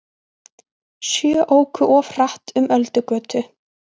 Sjö óku of hratt um Öldugötu